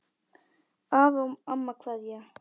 Afi og amma kveðja